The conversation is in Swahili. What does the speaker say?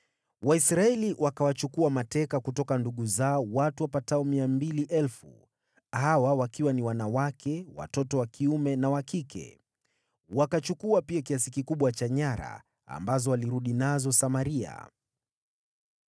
Waisraeli wakawachukua mateka kutoka ndugu zao, watu wapatao 200,000 hawa wakiwa ni wanawake, watoto wa kiume na wa kike. Wakachukua pia kiasi kikubwa cha nyara, ambazo walirudi nazo Samaria.